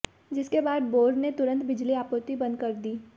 जिसके बाद बोर्ड ने तुरंत बिजली आपूर्ति बंद कर दी